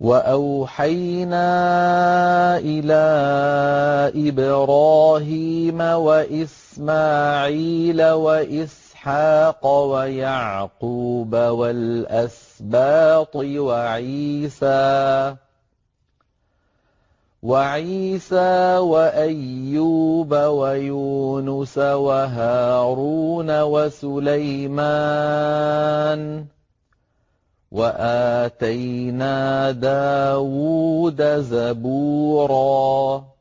وَأَوْحَيْنَا إِلَىٰ إِبْرَاهِيمَ وَإِسْمَاعِيلَ وَإِسْحَاقَ وَيَعْقُوبَ وَالْأَسْبَاطِ وَعِيسَىٰ وَأَيُّوبَ وَيُونُسَ وَهَارُونَ وَسُلَيْمَانَ ۚ وَآتَيْنَا دَاوُودَ زَبُورًا